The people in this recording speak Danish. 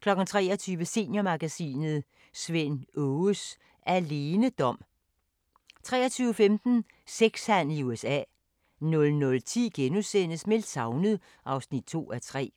23:00: Seniormagasinet – Svend Aages alenedom 23:15: Sex-handel i USA 00:10: Meldt savnet (2:3)*